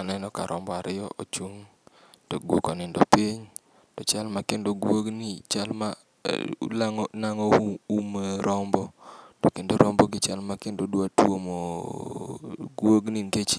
Aneno ka rombo ariyo ochung' to guok onindo piny, to chal ma kendo guogni chal ma nang'o u um rombo, to kendo rombogi chal ma kendo dwa tuomoo guogni nikech